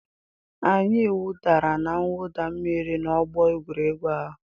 Anyị wụdara na mwụda mmiri n'ọgbọ egwuregwu ahụ.